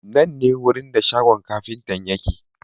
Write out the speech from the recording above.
Nan ne wurin da shagon kafintan yake.